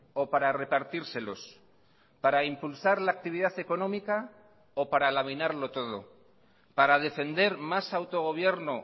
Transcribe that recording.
o para repartírselos para impulsar la actividad económica o para laminarlo todo para defender más autogobierno